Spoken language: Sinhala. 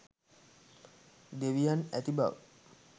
දෙවියන් ඇති බව